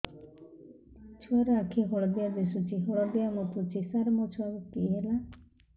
ଛୁଆ ର ଆଖି ହଳଦିଆ ଦିଶୁଛି ହଳଦିଆ ମୁତୁଛି ସାର ମୋ ଛୁଆକୁ କି ହେଲା